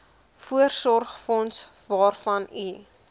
voorsorgsfonds waarvan u